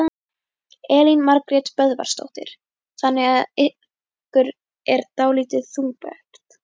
Elín Margrét Böðvarsdóttir: Þannig þetta er ykkur dálítið þungbært?